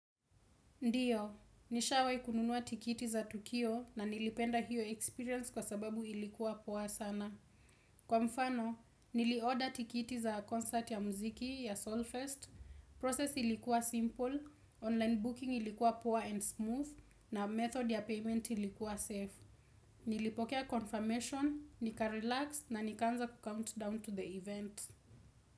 Ndio, nishawahi kununua tikiti za tukio na nilipenda hiyo experience kwa sababu ilikuwa poa sana. Kwa mfano, niliorder tikiti za concert ya mziki ya Solfest, process ilikuwa simple, online booking ilikuwa poa and smooth, na method ya payment ilikuwa safe. Nilipokea confirmation, nikarelax na nikaanza kucount down to the event.